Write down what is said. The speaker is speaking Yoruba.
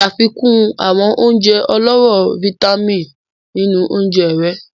Ṣafikun awọn ounjẹ ọlọrọ fítámìnì ninu ounjẹ rẹ.